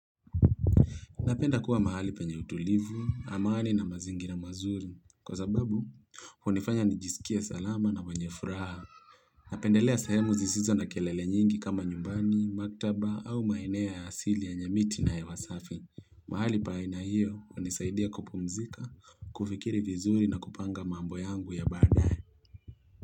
Napenda kuwa mahali penye utulivu, amani na mazingira mazuri, kwa sababu, hunifanya nijisikie salama na mwenye furaha. Napendelea sehemu zisizo na kelele nyingi kama nyumbani, maktaba au maeneo ya asili yenye miti na hewa safi. Mahali paina hiyo hunisaidia kupumzika, kufikiri vizuri na kupanga mambo yangu ya badae.